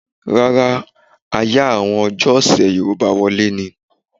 Rárá, a yá àwọn ọjọ́ ọ̀sè Yorùbá wọlé ni.